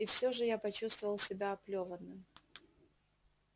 и все же я почувствовал себя оплёванным